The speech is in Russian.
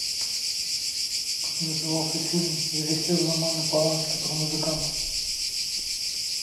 как назывался фильм режиссера романа полански про музыканта